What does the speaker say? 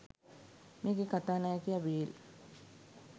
මේකෙ කතානායකයා විල්